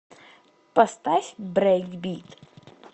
поставь брейкбит